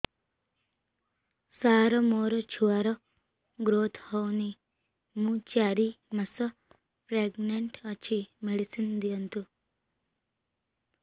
ସାର ମୋର ଛୁଆ ର ଗ୍ରୋଥ ହଉନି ମୁ ଚାରି ମାସ ପ୍ରେଗନାଂଟ ଅଛି ମେଡିସିନ ଦିଅନ୍ତୁ